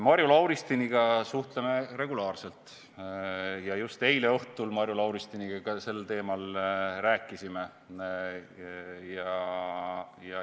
Marju Lauristiniga suhtleme regulaarselt ja just eile õhtul Marju Lauristiniga ka sel teemal rääkisime.